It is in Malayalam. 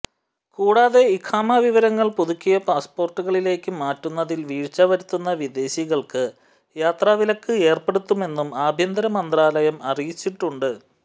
കൂടാതെ ഇഖാമ വിവരങ്ങൾ പുതുക്കിയ പാസ്പോർട്ടുകളിലേക്ക് മാറ്റുന്നതിൽ വീഴ്ച വരുത്തുന്ന വിദേശികൾക്ക് യാത്രാവിലക്ക് ഏർപ്പെടുത്തുമെന്നും ആഭ്യന്ത്ര മന്ത്രാലയം അറിയിച്ചിട്ടുണ്ട്